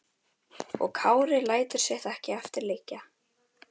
Og Kári lætur sitt ekki eftir liggja.